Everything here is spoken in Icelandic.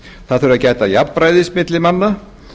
það þurfi að gæta jafnræðis á milli manna